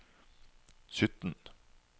sytten